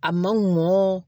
A ma mɔ